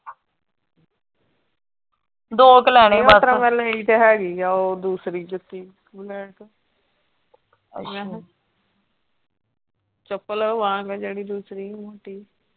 ਦੋ ਕ ਲੈਣੇ, ਓਤਰਾਂ ਮੈਂ ਲਈ ਤੇ ਹੈਗੀ ਆ ਉਹ ਦੂਸਰੀ ਜੁੱਤੀ ਮੈਂ ਮੈਂ ਕਿਹਾ ਚੱਪਲ ਵਾਂਗ ਜਿਹੜੀ ਦੂਸਰੀ ਮੋਟੀ।